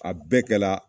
A bɛɛ kɛla